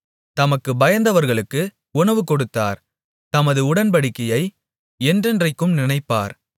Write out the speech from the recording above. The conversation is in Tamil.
தமக்குப் பயந்தவர்களுக்கு உணவு கொடுத்தார் தமது உடன்படிக்கையை என்றென்றைக்கும் நினைப்பார்